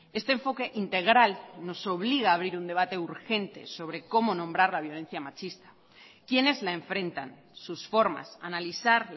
este enfoque integral nos obliga a abrir un debate urgente sobre cómo nombrar la violencia machista quiénes la enfrentan sus formas analizar